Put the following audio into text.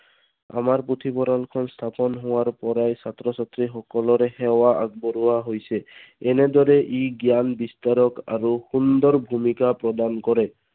আমাৰ পুথিভঁৰালখন স্থাপন হোৱাৰ পৰাই ছাত্ৰ ছাত্ৰীসকলোৰে সেৱা আগবঢ়োৱা হৈছে। এনেদৰে ই জ্ঞান বিস্তাৰক আৰু সুন্দৰ ভূমিকা প্ৰদান কৰে।